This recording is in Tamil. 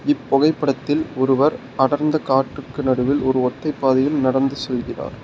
இப்புகைப்படத்தில் ஒருவர் அடர்ந்த காட்டுக்கு நடுவில் ஒரு ஒத்தை பாதையில் நடந்து செல்கிறார்.